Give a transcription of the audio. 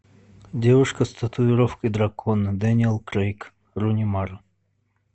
девушка с татуировкой дракона дэниел крейг руни мара